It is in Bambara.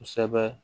Kosɛbɛ